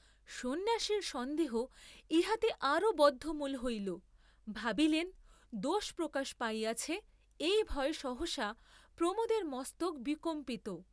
সন্ন্যাসীর সন্দেহ ইহাতে আরও বদ্ধমূল হইল, ভাবিলেন , দোষ প্রকাশ পাইয়াছে এই ভয়ে সহসা প্রমোদের মস্তক বিকম্পিত।